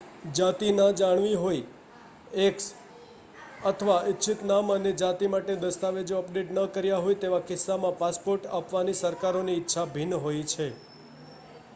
જાતિ ન જણાવી હોય x અથવા ઇચ્છિત નામ અને જાતિ માટે દસ્તાવેજો અપડેટ ન કર્યા હોય તેવા કિસ્સામાં પાસપોર્ટ આપવાની સરકારોની ઇચ્છા ભિન્ન હોય છે